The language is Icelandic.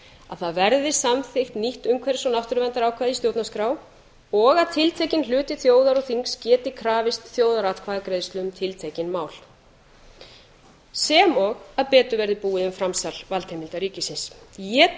að það verði samþykkt nýtt umhverfis og náttúruverndarákvæði í stjórnarskrá og að tiltekinn hluti þjóðar og þings geti krafist þjóðaratkvæðagreiðslu um tiltekin mál sem og að betur verði búið um framsal valdheimilda ríkisins ég